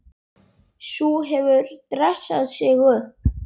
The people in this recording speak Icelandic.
Sú hefur dressað sig upp!